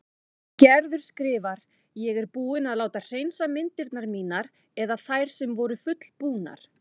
Gerður skrifar: Ég er búin að láta hreinsa myndirnar mínar eða þær sem voru fullbúnar.